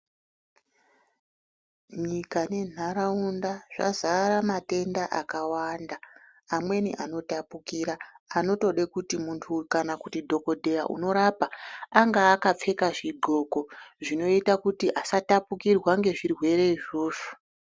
Nyika nentaraunda zvazara matenda akawanda, amweni anotapukira, anotode kuti muntu kana kuti dhogodheya anorapa anga akapfeka zvidloko zvinoita kuti asatapukirwa ngezvirwere izvozvo.